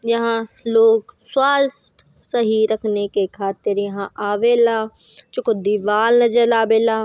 यहाँ लोग स्वास्थ सही रखने के खातिर यहाँ आवेला जो को दीवाल नज़र आबेला।